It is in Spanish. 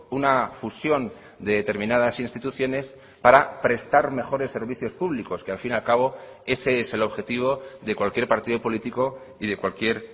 una fusión de determinadas instituciones para prestar mejores servicios públicos que al fin y al cabo ese es el objetivo de cualquier partido político y de cualquier